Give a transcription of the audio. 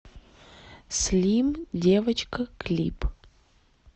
слим девочка клип